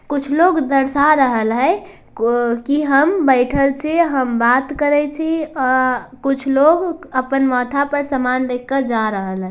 कुछ लोग दरसा रहल हय को कि हम बैठल छि हम बात करय छि अअ कुछ लोग अपन माथा पर सामान लेकर जा रहल हय।